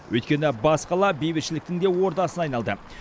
өйткені бас қала бейбітшіліктің де ордасына айналды